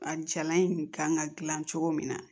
A jala in kan ka dilan cogo min na